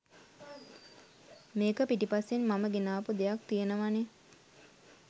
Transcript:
මේක පිටිපස්සෙන් මම ගෙනාපු දෙයක් තියෙනවානේ